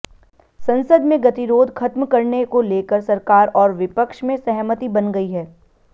संसद में गतिरोध खत्म करने को लेकर सरकार और विपक्ष में सहमति बन गई है